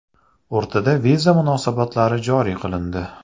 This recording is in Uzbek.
O‘rtada viza munosabatlari joriy qilindi.